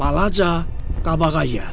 Balaca, qabağa gəl!